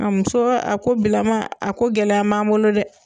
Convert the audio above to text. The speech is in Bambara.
muso a ko bilama a ko gɛlɛya m'an bolo dɛ